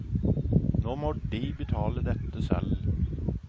Nå må de betale dette selv.